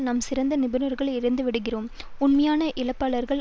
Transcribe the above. நாம் சிறந்த நிபுணர்களை இழந்துவிடுகிறோம் உண்மையான இழப்பாளர்கள்